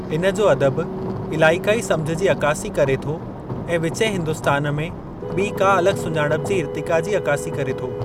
इन जो अदब इलाइक़ाई सम्झ जी अकासी करे थो ऐं विचें हिन्दुस्तान में ॿीं खां अलॻि सुञाणप जी इरतिक़ा जी अकासी करे थो।